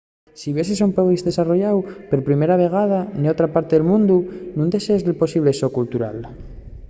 si viaxes a un país desarrolláu per primera vegada n'otra parte del mundu nun desdexes el posible shock cultural